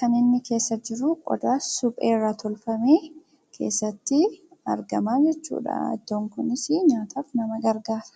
kan inni keessa jiru qodaa suphee irraa tolfame keessatti argama jechuudha. Ittoon kunis nyaataaf nama gargaara.